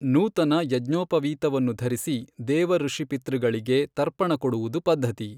ನೂತನ ಯಜ್ಞೋಪವೀತವನ್ನು ಧರಿಸಿ ದೇವಋಷಿಪಿತೃಗಳಿಗೆ ತರ್ಪಣ ಕೊಡುವುದು ಪದ್ಧತಿ.